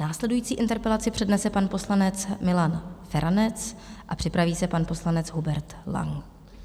Následující interpelaci přednese pan poslanec Milan Feranec a připraví se pan poslanec Hubert Lang.